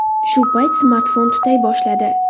Shu payt smartfon tutay boshladi.